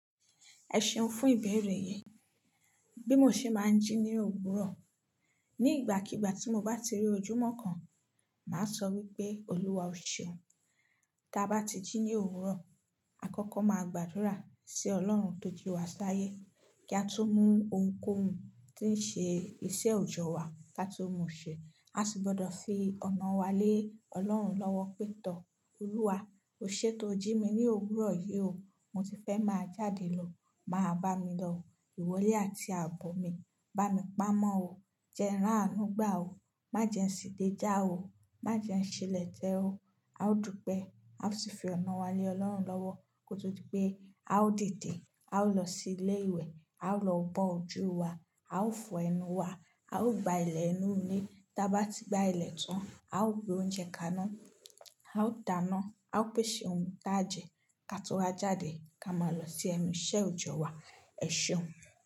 Ẹ ṣeun fún ìbéèrè yii Bí mo ṣe máa ń jí ní òwúrọ̀. Ni ìgbàkígbà tí mo bá ti rí ojúmọ́ kan, màá sọ wípé Olúwa o ṣeun. Ta bá ti jí ní òwúrọ̀, àkọ́kọ́ máa gbàdúrà sí Ọlọ́run tó jí wa sáyé kí a tó mú ohunkóhun tí ń ṣe iṣẹ́ òjọ́ wa ká tó mu ṣe. A sì gbọ́dọ̀ fi ọ̀nà wa lé Ọlọ́run lọ́wọ́ pé tọ Olúwa oṣé tó jí mi ní òwúrọ̀ yí o. Mo ti fẹ́ máa jáde lọ, máa bá mi lọ. Ìwọ lé àti àbọ̀ mi. Bá mi pamọ́ o. Jẹ n rá ànù gbà o. Má jẹ ń ṣìdé já o. Má jẹ ń ṣilẹ̀ tẹ o. A ó dùpẹ́. A ó sì fi ọ̀nà wa lé Ọlọ́run lọ́wọ́ kó tó di pé a ó dìde. A ó lọ sí ilé ìwẹ̀, a ó lọ bọ́ ojú wa, a ó fọ ẹnu wa, a ó gba ilẹ̀ inúle ta bá ti gba ilẹ̀ tán, a ó gbé oúnjẹ kaná, a ó dáná, a ó pèsè ohun tá jẹ ká tó wa jáde ká máa lọ sí ẹnu iṣẹ́ òjọ́ wa. Ẹ ṣeun.